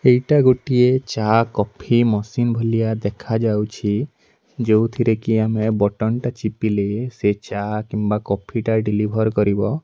ଏଇଟା ଗୋଟିଏ ଚା କଫି ମେସିନ୍ ଭଲିଆ ଦେଖାଯାଉଚି ଯୋଉଥିରେ କି ଆମେ ବଟମଟା ଚିପିଲେ ସେ ଚା କିମ୍ବା କଫିଟା ଡେଲିଭର କରିବ।